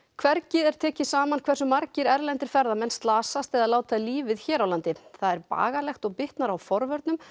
hvergi er tekið saman hversu margir erlendir ferðamenn slasast eða láta lífið hér á landi það er bagalegt og bitnar á forvörnum